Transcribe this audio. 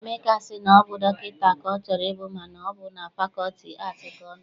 Emeka sị na ọ bụ dọkịta ka ọ chọrọ ịbụ mana ọ bụ na fakọlti aatị ka ọ nọ.